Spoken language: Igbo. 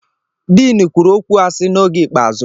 Din kwuru okwu asị n'oge ikpeazụ.